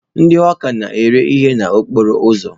Ndị hawka na-ere ihe n'okporo ụzọ.